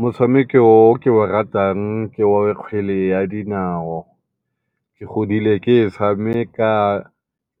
Motshameko o ke o ratang ke wa kgwele ya dinao, ke godile ke e tshameka